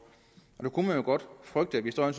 og der kunne man godt frygte at vi står i